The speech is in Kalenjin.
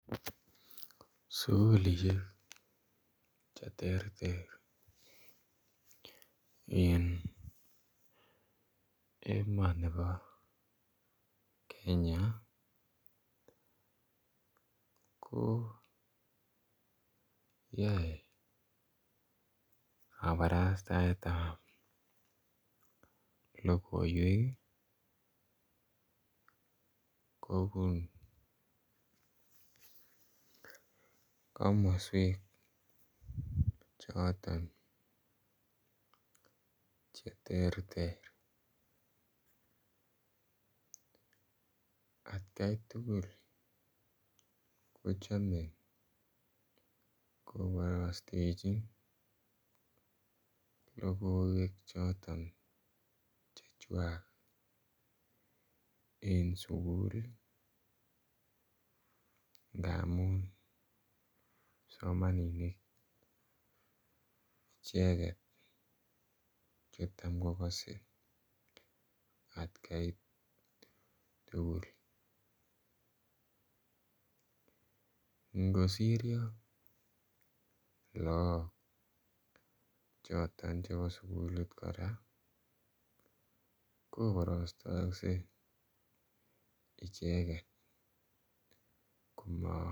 Sukulishek che terter en emoni bo Kenya ko yoe kaparastaetab logoywek kobun komoswek choton che terter. Atkai tugul kochome koborosteji logoywek choton chechwak en sukul ii ngamun kipsomaninik icheget che tam kogose atkai tugul ngosiryo look choton chebo sukulit koraa koborostokse icheget komo